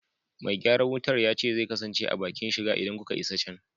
Me gyaran wutar ya ce zai kasance a bakin shiga idan kuka isa can.